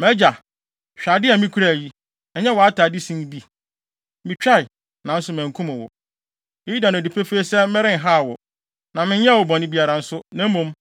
Mʼagya, hwɛ ade a mikura yi. Ɛyɛ wʼatade sin bi. Mitwae, nanso mankum wo. Eyi da no adi pefee sɛ merenhaw wo, na menyɛɛ wo bɔne biara nso, na mmom,